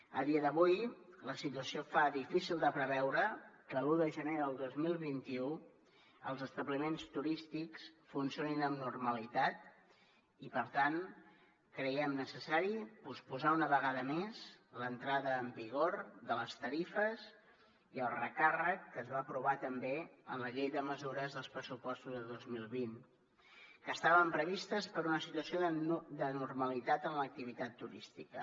a dia d’avui la situació fa difícil de preveure que l’un de gener del dos mil vint u els establiments turístics funcionin amb normalitat i per tant creiem necessari posposar una vegada més l’entrada en vigor de les tarifes i el recàrrec que es va aprovar també en la llei de mesures dels pressupostos de dos mil vint que estaven previstes per una situació de normalitat en l’activitat turística